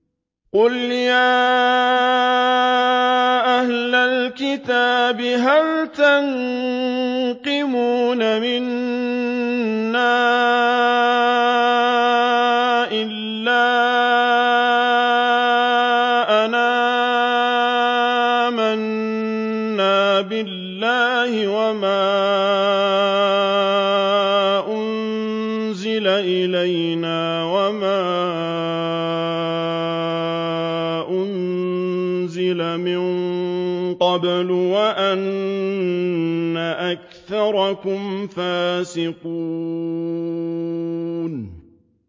قُلْ يَا أَهْلَ الْكِتَابِ هَلْ تَنقِمُونَ مِنَّا إِلَّا أَنْ آمَنَّا بِاللَّهِ وَمَا أُنزِلَ إِلَيْنَا وَمَا أُنزِلَ مِن قَبْلُ وَأَنَّ أَكْثَرَكُمْ فَاسِقُونَ